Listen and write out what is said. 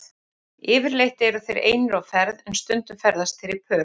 Yfirleitt eru þeir einir á ferð en stundum ferðast þeir í pörum.